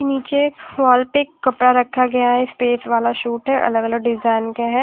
नीचे एक वॉल पे कपड़ा रखा गया है स्टेज वाला शुट है अलग अलग डिजाइन के हैं।